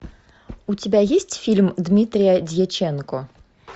у тебя есть фильм дмитрия дьяченко